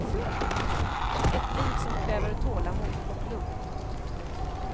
Ett liv som kräver tålamod och lugn.